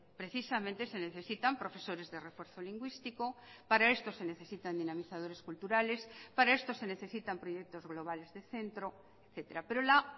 precisamente se necesitan profesores de refuerzo lingüístico para esto se necesitan dinamizadores culturales para esto se necesitan proyectos globales de centro etcétera pero la